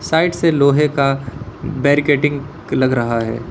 Side से लोहे का बार्केडिंग लग रहा है।